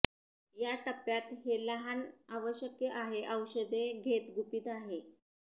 या टप्प्यात हे लहान आवश्यक आहे औषधे घेत गुपित आहे